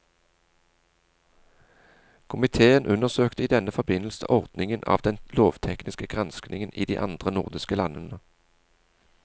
Komiteen undersøkte i denne forbindelse ordningen av den lovtekniske granskningen i de andre nordiske landene.